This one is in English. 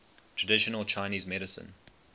traditional chinese medicine